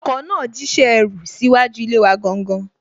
Ọkọ náà jíṣẹ́ ẹrú síwájú ilé wa gangan